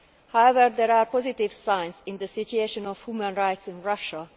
However, there are positive signs in the situation of human rights in Russia.